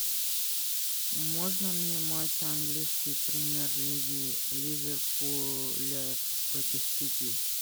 можно мне матч английской премьер лиги ливерпуля против сити